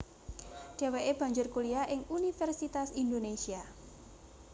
Dheweke banjur kuliah ing Universitas Indonesia